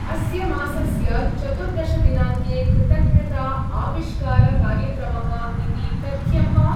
अस्य मासस्य चतुर्दशदिनाङ्के कृतज्ञता-आविष्कार-कार्यक्रमः इति तथ्यं वा?